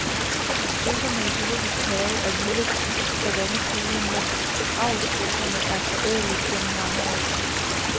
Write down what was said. Strudsene i zoologisk have er vilde savannefugle, mens avlsstrudsene er forædlet gennem mange år.